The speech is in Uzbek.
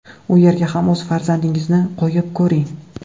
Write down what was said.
U yerga ham o‘z farzandingizni qo‘yib ko‘ring.